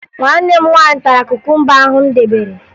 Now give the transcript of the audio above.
Nwanne m nwaanyị tara kukumba ahụ m debere